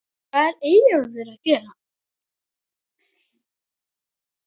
HVAÐ ER EYJÓLFUR AÐ GERA????